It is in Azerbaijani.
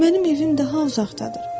“Mənim evim daha uzaqdadır.